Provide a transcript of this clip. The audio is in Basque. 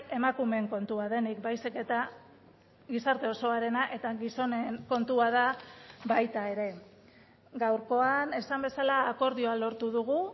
emakumeen kontua denik baizik eta gizarte osoarena eta gizonen kontua da baita ere gaurkoan esan bezala akordioa lortu dugu